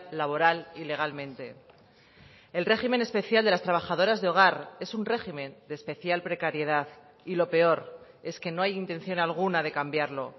laboral y legalmente el régimen especial de las trabajadoras de hogar es un régimen de especial precariedad y lo peor es que no hay intención alguna de cambiarlo